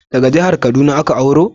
Daga jihar kaduna ka auro?